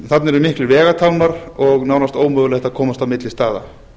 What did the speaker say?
þarna eru miklir vegatálmar og nánast ómögulegt að komast á milli staða